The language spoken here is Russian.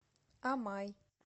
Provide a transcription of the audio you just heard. амай